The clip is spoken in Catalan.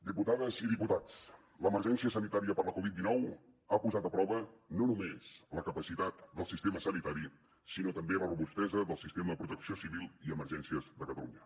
diputades i diputats l’emergència sanitària per la covid dinou ha posat a prova no només la capacitat del sistema sanitari sinó també la robustesa del sistema de protecció civil i emergències de catalunya